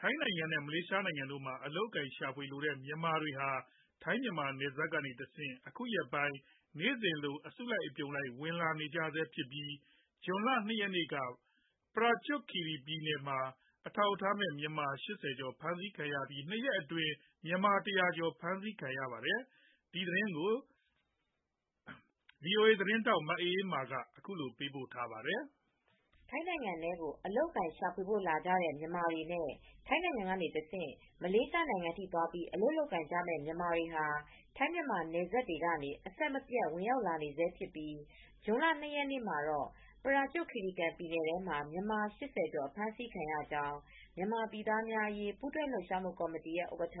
ထိုင်းနိုင်ငံနဲ့ မလေးရှားနိုင်ငံတို့မှာ အလုပ်အကိုင်ရှာဖွေလိုကြတဲ့ မြန်မာတွေဟာ ထိုင်း- မြန်မာနယ်စပ်တွေကတဆင့် အခုရက်ပိုင်း နေ့စဉ် အစုလိုက် အပြုံလိုက် ဝင်လာနေကြဆဲဖြစ်ပြီး ဇွန်လ၂ရက်နေ့က ပရာကျွတ်ခီရီကန်ပြည်နယ်ထဲမှာ အထောက်အထားမဲ့ မြန်မာ၈၀ကျော် အဖမ်းဆီးခံရပြီး၂ရက်အတွင်း မြန်မာ၁၀၀ကျော်ဖမ်းဆီးခံရပါတယ် ။ ဒီသတင်းကို ဗွီအိုအေသတင်းထောက် မအေးအေးမာ က သတင်းပေးပို့ထားပါတယ်။ ထိုင်းနိုင်ငံထဲကို အလုပ်အကိုင်ရှာဖွေဖို့လာကြတဲ့ မြန်မာတွေနဲ့ ထိုင်းနိုင်ငံကနေတဆင့် မလေးရှားနိုင်ငံအထိ သွားပြီး အလုပ်လုပ်ကိုင်ကြမယ့် မြန်မာတွေဟာ ထိုင်းမြန်မာနယ်စပ်တွေကနေ အဆက်မပြတ် ဝင်ရောက်နေဆဲဖြစ်ပြီ းဇွန်လ ၂ရက်နေ့မှာတော့ ပရာကျွတ်ခီရီကန်ပြည်နယ်ထဲမှာ မြန်မာ၈၀ကျော် အဖမ်းဆီးခံရကြောင်း မြန်မာပြည်သားများအရေး ပူးတွဲလှုပ်ရှားမူ့ကော်မတီရဲ့ဥက္ကဌ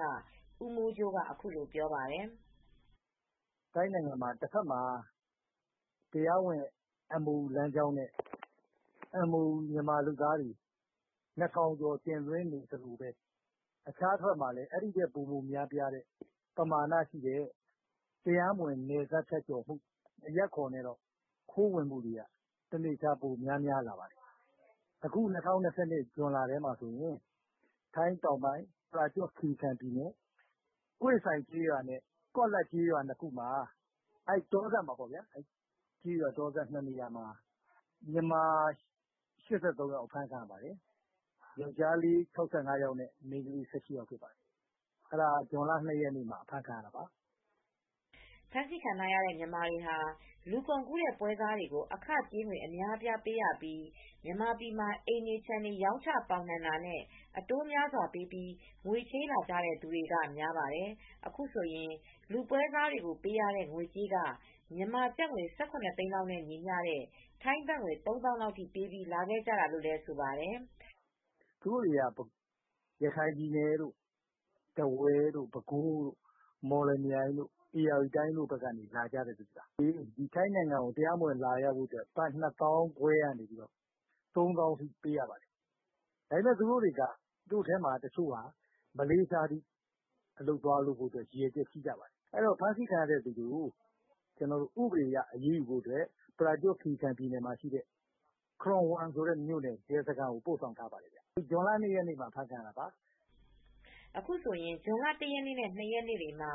ဦးမိုးကြိုးကအခုလိုပြောပါတယ်။ " ထိုင်းနိုင်ငံမှာ တဖက်မှာ MOU လမ်းကြောင်းနဲ့ မြန်မာလုပ်သားတွေ ၂ထောင်ကျော် တင်သွင်းနေသလို အခြားတဖက်မှာ အဲဒီထက်ပိုမိုများပြားတဲ့ ပမာဏရှိတဲ့ တရားမဝင် နယ်စပ်ဖြတ်ကျော်မူ့ အရပ်အခေါ်နဲ့ ခိုးဝင်မူ့က ပိုမိုများပြာလာပါတယ်။ အခု ၂၀၂၂ခုနှစ် ဇွန်လထဲမှာတော့ ထိုင်းတောင်ပိုင်း ပရာကျွတ်ခီရီကန်ပြည်နယ် ဟွေ့ဆိုင်ကျေးရွာနဲ့ ကော့လတ်ကျေးရွာနှစ်ခု တောစပ်တနေရာမှာ မြန်မာ၈၃ယောက် အဖမ်းခံရပါတယ် ။ ယောက်ကျားလေး ၆၅ယောက်နဲ့ မိန်းကလေး ၁၈ယောက်ဖြစ်ပါတယ်။ အဲဒါ ဇွန်လ ၂ရက်နေ့မှာအဖမ်းခံရတာပါ။ ဖမ်းဆီးခံရတဲ့မြန်မာတွေဟာ လူကုန်ကူးတဲ့ပွဲစားတွေကို အခကြေးငွေ အများအပြားပေးရပြီး မြန်မာပြည်မှာ အိမ်တွေခြံတွေ ရောင်းချပေါင်းနှံတာနဲ့ အတိုးများစွာပေးပြီးငွေချေးလာကြတဲ့သူတွေက များပါတယ်။ အခုဆိုရင် လူပွဲစားတွေပေးရတဲ့ ငွေကြေးက မြန်မာကျပ်ငွေ ၁၇ သိန်းနဲ့ ညီမျှတဲ့ ထိုင်းဘတ်ငွေ ၃၀,၀၀၀ လောက်ထိပေးပြီး လာကြတာလို့လည်းဆိုပါတယ်။ " သူတို့တွေဟာ ရခိုင်ပြည်နယ်၊ ထားဝယ် ၊ ပဲခူး ၊ ဧရာဝတီတိုင်းတို့ကနေ လာကြတဲ့သူတွေပါ ။ ထိုင်းနိုင်ငံကို တရားမဝင်လာကြဖို့အတွက် ဘတ်ငွေ ၂သောင်းခွဲကနေ ၃သောင်းအထိပေးပြီးလာကြတဲ့သူတွေပါ။ သူတို့တွေထဲက မလေးရှားအထိ အလုပ်သွားလုပ်ကြဖို့ ရည်ရွယ်ချက်ရှိပါတယ်။ ဖမ်းဆီးခံရသူတွေကို ဥပဒေအရ အရေးယူဖို့အတွက် ပရာကျွတ်ခီရီကန်ပြည်နယ်မှာရှိတဲ့ ခရွန်ဝမ်ဆိုတဲ့ မြို့နယ်ရဲစခန်းကိုပို့ဆောင်ထားပါတယ် " အခုဆိုရင်ဇွန်လ ၁ရက်နေ့နဲ့ ၂ရက်နေ့မှာ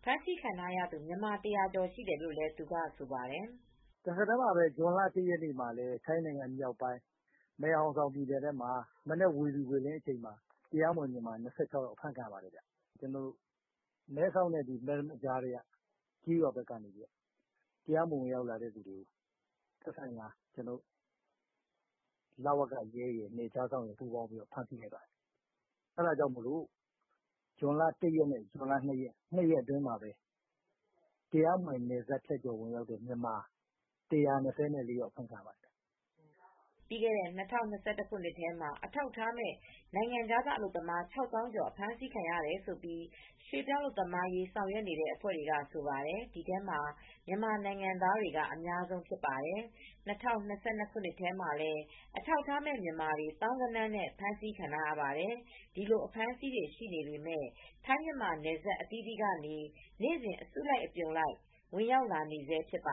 အဖမ်းဆီးခံရသူ မြန်မာ၁၀၀ကျော်ရှိတယ်လို့လည်းဆိုပါတယ် ။ " ဇွန်လ၁ရက်နေ့မှာလဲ ထိုင်းနိုင်မြောက်ပိုင်း မယ်ဟောင်ဆောင်ပြည်နယ်ထဲမှာ မနက်ဝေလီဝေလင်း အချိန်မှာ တရားမဝင်မြန်မာ ၂၆ယောက် အဖမ်းခံရပါတယ်။ မဲဆောက်နဲ့ မယ်ရမတ်ကြားက ကျေးရွာဘက်က တရားမဝင်ဝင်ရောက်လာသူတွေကို သက်ဆိုင်ရာ နယ်ခြားစောင့်တွေ ပူးပေါင်းပြီးဖမ်းဆီးလိုက်ပါတယ်။ ဇွန်လ ၁ရက်နေ့နဲ့ ဇွန်လ၂ရက်တွေမှာ တရားမဝင်နယ်စပ်ဖြတ်ကျော် ဝင်ရောက်လာသူ မြန်မာ၁၂၄ယောက်အဖမ်းခံရပါတယ် " ပြီးခဲ့တဲ့နှစ် ၂၀၂၁ခုနှစ်ထဲမှာ အထောက်အထားမဲ့ နိုင်ငံခြားသား အလုပ်သမား ၆သောင်းကျော် အဖမ်းခံရတယ်လို့ ရွှေပြောင်းအလုပ်သမားရေး ဆောင်ရွက်နေတဲ့အဖွဲ့တွေကဆိုပါတယ်။ ဒီထဲမှာတော့ မြန်မာနိုင်ငံသားက အများဆုံးဖြစ်ပါတယ်။ ၂၀၂၂ခုနှစ်ထဲမှာလည်း အထောက်အထားမဲ့ မြန်မာတွေ သောင်းဂဏန်းနဲ့ ဖမ်းဆီးခံရထားရပါတယ်။ ဒီလိုအဖမ်းဆီးတွေရှိနေပေမယ့် ထိုင်းမြန်မာနယ်စပ် အသီးသီးကနေ နေ့စဉ် အစုလိုက် အပြုံလိုက် ဝင်ရောက်လာနေဆဲဖြစ်ပါ